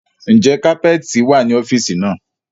Ń jẹ́ kapẹ́ẹ́tì wá ní ọ́fíìsì náà?